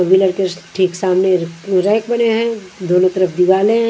Wheeler के ठीक सामने रैक बने हैं दोनों तरफ दीवाले हैं।